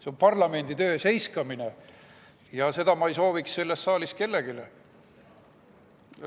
See on parlamendi töö seiskamine ja seda ei sooviks ma selles saalis kellelegi.